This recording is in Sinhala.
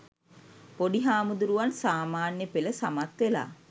පොඩි හාමුදුරුවන් සාමාන්‍ය පෙළ සමත් වෙලා